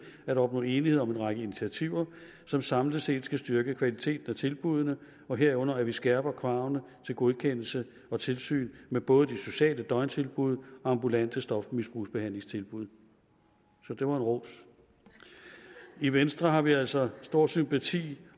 at opnå enighed om en række initiativer som samlet set skal styrke kvaliteten af tilbuddene og herunder at vi skærper kravene til godkendelse og tilsyn med både de sociale døgntilbud og ambulante stofmisbrugsbehandlingstilbud så det var en ros i venstre har vi altså stor sympati